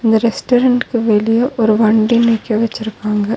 இந்த ரெஸ்டரன்ட்க்கு வெளிய ஒரு வண்டி நிக்க வச்சிருக்காங்க.